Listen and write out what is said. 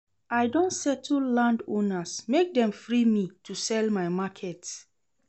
I don settle landowners make dem free me to sell my market.